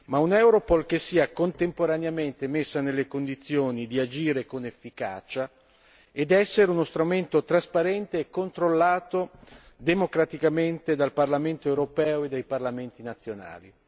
Ma un'Europol che sia contemporaneamente messa nelle condizioni di agire con efficacia ed essere uno strumento trasparente e controllato democraticamente dal Parlamento europeo e dai parlamenti nazionali.